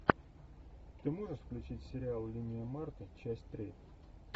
ты можешь включить сериал линия марты часть три